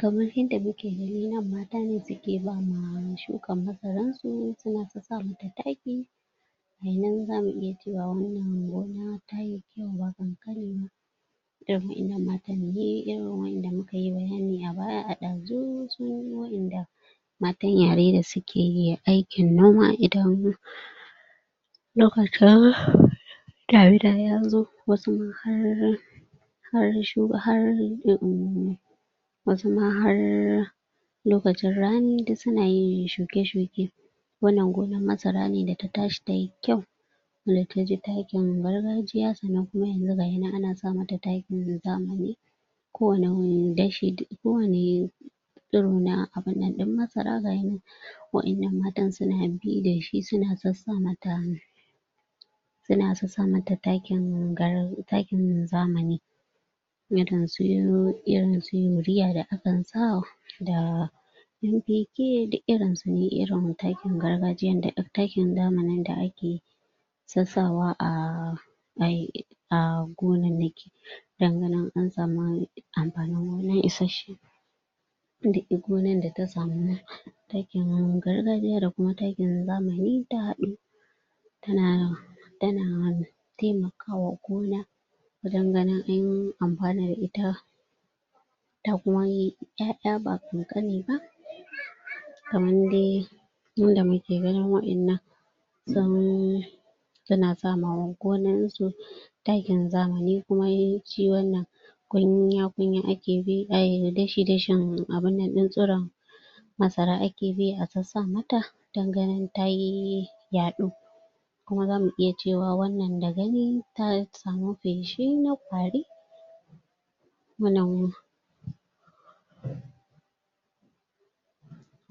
Kamar yadda muke gani nan mata ne suke ba ma shukan masaran su suna ta sa mata taki gayinan zamu iya cewa wannan gonan tayi kyau ba ƙanƙani ba irin wa'innan matan ne irin wa'inda muka yi bayani a baya a ɗazu sune wa'inda matan yare da suke aikin noma idan lokacin damina ya zo, wasu har wasu ma har lokacin rani duk suna yin shuke shuke wannan gonan masara ne da ta tashi tayi kyau wanda taji takin gargajiya sannan kuma yanzu gayinan ana sa mata takin zamani ko wani dashi na abunnan ɗin masara gayinan wa'innan matan suna bi da shi suna sassa mata Suna sassa mata takin zamani irin su urea da akan sa da MPK duk irin su ne irin takin zamanin da ake sassawa a a gonannaki don ganin an samu amfanin gona isasshe duk gonan da ta samu takin gargajiya da kuma takin zamani ta haɗu tana tana taimakawa gona wajen ganin an amfana da ita ta kuma yi ƴaƴa ba ƙanƙani ba kaman dai yanda muke gani wa'innan sun suna sama gonan su takin zamani kuma shi wannan kunya kunya ake bi dashi dashin tsiron masara ake bi a sassa mata don ganin tayi yaɗo kuma zamu iya cewa wannan da gani ta samu feshi na ƙwari wannnan